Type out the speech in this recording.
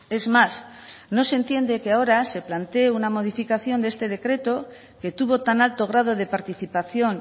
es más no se entiende que ahora se plantee una modificación de este decreto que tuvo tan alto grado de participación